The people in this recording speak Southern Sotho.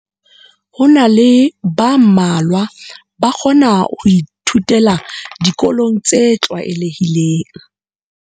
Ho na le ba mmalwa ba kgona ho ithutela dikolong tse tlwaelehileng.